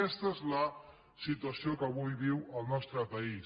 aquesta és la situació que avui viu el nostre país